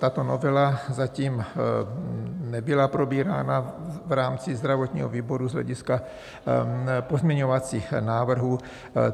Tato novela zatím nebyla probírána v rámci zdravotního výboru z hlediska pozměňovacích návrhů.